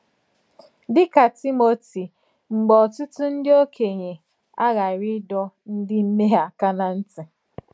Dị̀ kà Tímòtì, mgbe ọ̀tụ̀tụ̀ ńdí òkènyè àghàrị̀ ìdò ńdí mmèhè àkà nà ntì.